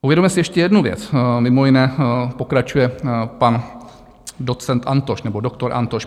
Uvědomme si ještě jednu věc, mimo jiné pokračuje pan docent Antoš, nebo doktor Antoš.